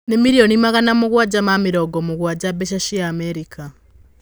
Nĩ mirionĩ magana mũgwanja ma mĩrongo mũgwanja mbeca cia Amerĩka.